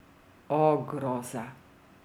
O groza!